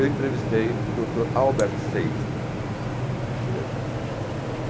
Eu entrevistei o doutor Albert Sabin, por exemplo.